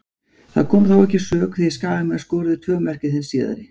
Það kom þó ekki að sök því Skagamenn skoruðu tvö mörk í þeim síðari.